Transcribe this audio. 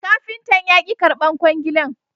Kafintan ya ki karbar kwangilan